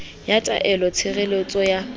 ya taelo ya tshireletso ya